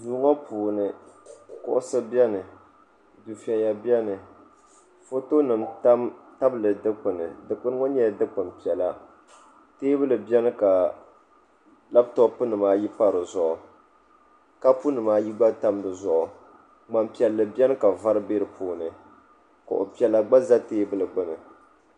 duu ŋɔ puuni kuɣusi biɛni dufɛya biɛni foto nim tabili dikpuni dikpuni ŋɔ nyɛla dikpuni piɛla teebuli biɛni ka labtop nima ayi pa dizuɣu kapu nim ayi gba tam dizuɣu ŋmani piɛlli biɛni ka vari bɛ di puuni kuɣu piɛla gba ʒɛ teebuli gbuni